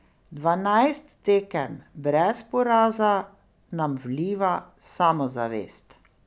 Dvanajst tekem brez poraza nam vliva samozavest.